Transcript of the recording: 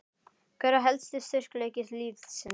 Hver er helsti styrkleiki liðsins?